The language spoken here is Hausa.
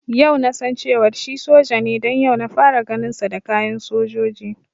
Yau nasan cewar shi soja ne don yau na fara ganin sa da kayan sojoji